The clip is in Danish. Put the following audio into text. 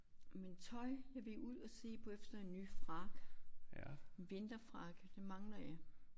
Men tøj jeg vil ud og se på efter en ny frakke. Vinterfrakke, det mangler jeg